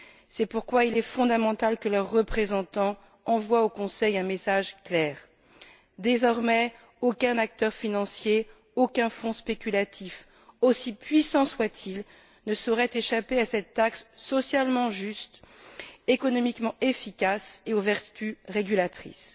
C'est pourquoi il est fondamental que leurs représentants envoient au Conseil un message clair. Désormais, aucun acteur financier, aucun fonds spéculatif, aussi puissant soit il, ne saurait échapper à cette taxe socialement juste, économiquement efficace et aux vertus régulatrices.